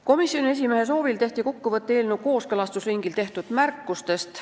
Komisjoni esimehe soovil tehti kokkuvõte eelnõu kooskõlastusringil tehtud märkustest.